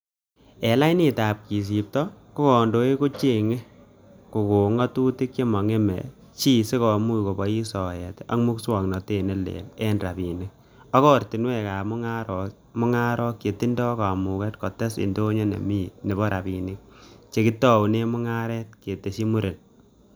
'En lainitab kesipto, ko kondoik kochenge kokon ngatutik che mo ngeme chi sikimuch kobois soet ak musoknotet ne leel en rabinik, ak ortinwek ab mungarok chetindo kamuget kotes indonyo nemo rabinik che kitounen mungaret,''kitesyi muren